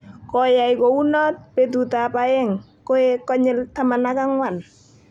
Koyai kou noot betutab aeng, koek konyil 14."